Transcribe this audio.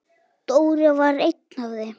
Dóri var einn af þeim.